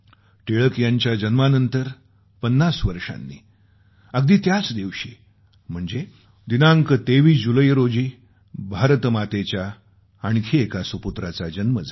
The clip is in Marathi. टिळक यांच्या जन्मानंतर 50वर्षांनी अगदी त्याच दिवशी म्हणजे दिनांक 23 जुलै रोजी भारत मातेच्या आणखी एका सुपुत्राचा जन्म झाला